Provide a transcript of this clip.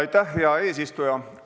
Aitäh, hea eesistuja!